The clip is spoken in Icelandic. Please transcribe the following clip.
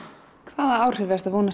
hvaða áhrif